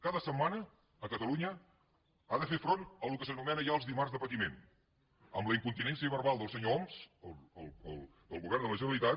cada setmana a catalunya ha de fer front al que s’anomena ja els dimarts de patiment amb la incontinència verbal del senyor homs del govern de la generalitat